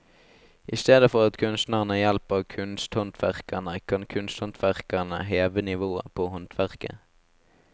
I stedet for at kunstnerne hjelper kunsthåndverkerne, kan kunsthåndverkerne heve nivået på håndverket.